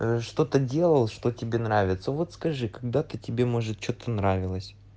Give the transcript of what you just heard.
ээ что-то делал что тебе нравится вот скажи когда-то тебе может что-то нравилось